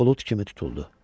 Bulud kimi tutuldu.